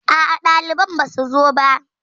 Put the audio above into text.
Aa, ɗaliban basu zo ba